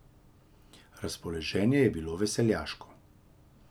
Razpoloženje je bilo veseljaško.